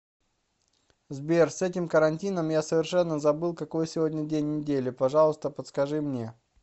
сбер с этим карантином я совершенно забыл какой сегодня день недели пожалуйста подскажи мне